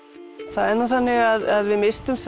það er nú þannig að við misstum